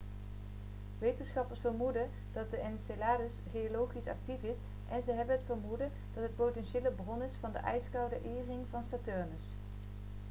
wetenschappers vermoeden dat enceladus geologisch actief is en ze hebben het vermoeden dat het een potentiële bron is van de ijskoude e-ring van saturnus